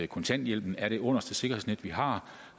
kontanthjælpen er det underste sikkerhedsnet vi har